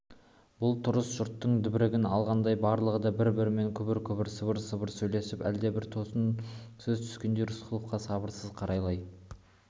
бұл тұрыс жұрттың дегбірін алғандай барлығы да бір-бірімен күбір-күбір сыбыр-сыбыр сөйлесіп әлдебір тосын сөз күткендей рысқұловқа сабырсыз қарайлай